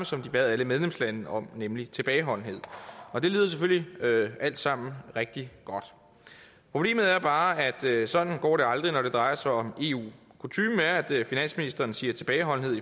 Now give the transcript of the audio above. som de bad alle medlemslandene om at nemlig tilbageholdende det lyder selvfølgelig alt sammen rigtig godt problemet er bare at sådan går det aldrig når det drejer sig om eu kutymen er at finansministeren siger tilbageholdenhed